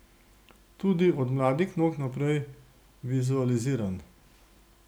Tudi od mladih nog naprej vizualiziram.